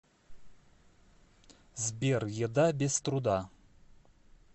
сбер еда без труда